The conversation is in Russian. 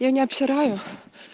я не обсираю